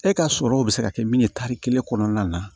E ka sɔrɔ bɛ se ka kɛ min ye tari kelen kɔnɔna na